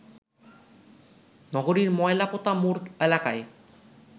নগরীর ময়লাপোতা মোড় এলাকায়